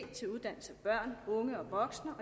til uddannelse af børn unge og voksne